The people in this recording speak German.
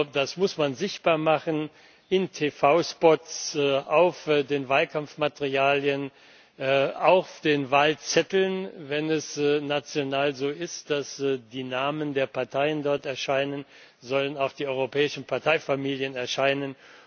Das muss man sichtbar machen, in TV Spots, auf den Wahlkampfmaterialien, auf den Wahlzetteln, und wenn es national so ist, dass die Namen der Parteien dort erscheinen, sollen auch die europäischen Parteifamilien erscheinen.